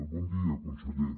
bon dia conseller